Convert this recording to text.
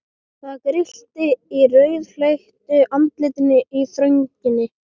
Það grillti í rauðleitt andlit í þrönginni.